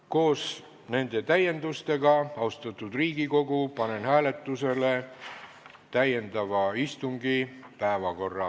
Koos nende täiendustega, austatud Riigikogu, panen hääletusele täiendava istungi päevakorra.